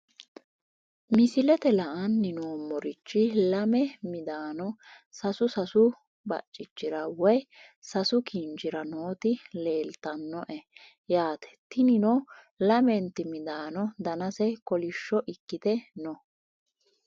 Misilete la`ani noomorichi lame midaano sasu sasu bacichira woyi sasu kinchira nooti leeltanoe yaata tinino lamenti midaano danase kolisho ikite no.